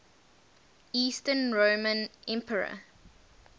eastern roman emperor